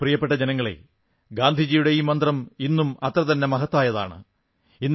എന്റെ പ്രിയപ്പെട്ട ജനങ്ങളേ ഗാന്ധിജിയുടെ ഈ മന്ത്രം ഇന്നും അത്രതന്നെ മഹത്തായതാണ്